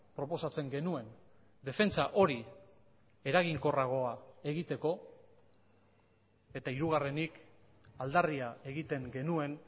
proposatzen genuen defentsa hori eraginkorragoa egiteko eta hirugarrenik aldarria egiten genuen